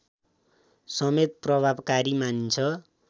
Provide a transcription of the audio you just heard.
समेत प्रभावकारी मानिन्छ